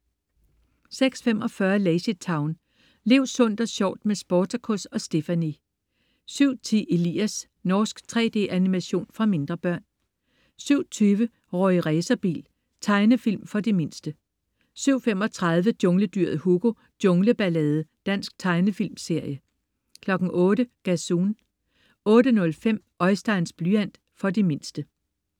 06.45 LazyTown. Lev sundt og sjovt med Sportacus og Stephanie! 07.10 Elias. Norsk 3D-animation for mindre børn 07.20 Rorri Racerbil. Tegnefilm for de mindste 07.35 Jungledyret Hugo. Jungle ballade. Dansk tegnefilmserie 08.00 Gazoon 08.05 Oisteins blyant. For de mindste